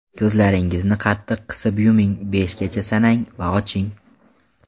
Ko‘zlaringizni qattiq qisib yuming, beshgacha sanang va oching.